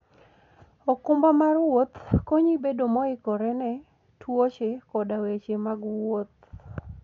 okumba mar wuoth konyi bedo moikore ne tuoche koda weche mag wuoth.